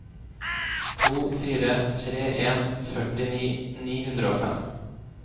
to fire tre en førtini ni hundre og fem